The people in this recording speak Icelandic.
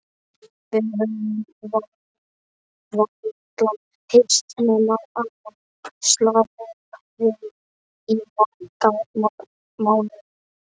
Við höfum varla hist nema annað slagið í marga mánuði